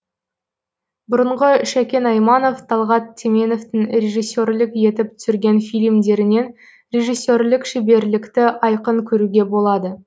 бұрынғы шәкен айманов талғат теменовтың режиссерлік етіп түсірген фильмдерінен режиссерлік шеберлікті айқын көруге болады